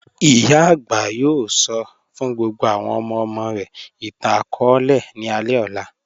Iyà agbà yóò sọ́ fún gbogbo àwọn ọmọ-ọmọ rẹ̀ ìtàn-akọọlẹ̀ ní alẹ ọlá.